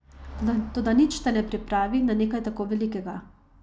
Toda nič te ne pripravi na nekaj tako velikega.